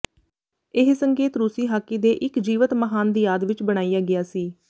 ਇਹ ਸੰਕੇਤ ਰੂਸੀ ਹਾਕੀ ਦੇ ਇੱਕ ਜੀਵਤ ਮਹਾਨ ਦੀ ਯਾਦ ਵਿੱਚ ਬਣਾਇਆ ਗਿਆ ਸੀ